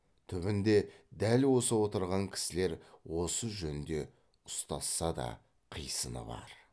түбінде дәл осы отырған кісілер осы жөнде ұстасса да қисыны бар